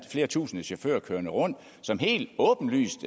flere tusinde chauffører kørende rundt som helt åbenlyst